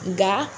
Nka